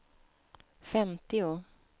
femtio